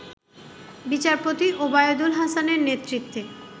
বিচারপতি ওবায়দুল হাসানের নেতৃত্বে